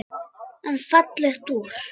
En fallegt úr.